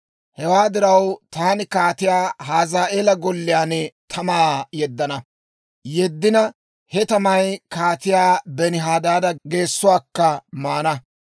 Hewaa diraw, taani Kaatiyaa Hazaa'eela golliyaan tamaa yeddana; yeddina he tamay Kaatiyaa Benihadaada geessuwaakka maana.